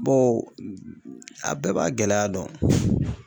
Bawo a bɛɛ b'a gɛlɛya dɔn.